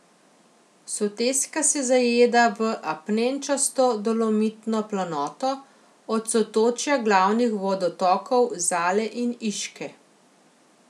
Soteska se zajeda v apnenčasto dolomitno planoto od sotočja glavnih vodotokov Zale in Iške.